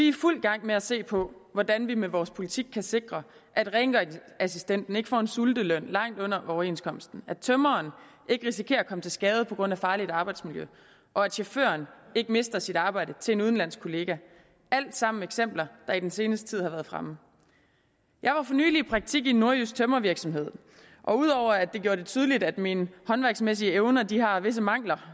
i fuld gang med se på hvordan vi med vores politik kan sikre at rengøringsassistenten ikke får en sulteløn langt under overenskomsten at tømreren ikke risikerer at komme til skade på grund af farligt arbejdsmiljø og at chaufføren ikke mister sit arbejde til en udenlandsk kollega alt sammen eksempler der i den seneste tid har været fremme jeg var for nylig i praktik i en nordjysk tømrervirksomhed og ud over at det gjorde det tydeligt at mine håndværksmæssige evner har visse mangler